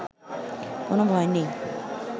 কোনো ভয় নেই